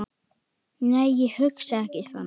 Nei, ég hugsa ekki þannig.